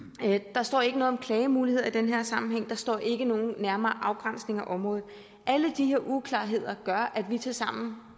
der står ikke noget om klagemuligheder i den her sammenhæng der står ikke noget om en nærmere afgrænsning af området alle de her uklarheder gør tilsammen